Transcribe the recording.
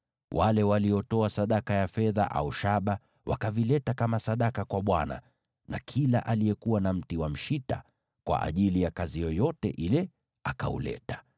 Wale waliotoa sadaka ya fedha au shaba wakavileta kama sadaka kwa Bwana , na kila aliyekuwa na mti wa mshita kwa ajili ya kazi yoyote ile akauleta.